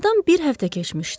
Aradan bir həftə keçmişdi.